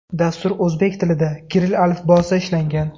Dastur o‘zbek tilida, kirill alifbosida ishlangan.